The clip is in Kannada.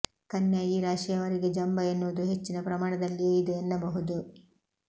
ಕನ್ಯಾ ಈ ರಾಶಿಯವರಿಗೆ ಜಂಭ ಎನ್ನುವುದು ಹೆಚ್ಚಿನ ಪ್ರಮಾಣದಲ್ಲಿಯೇ ಇದೆ ಎನ್ನಬಹುದು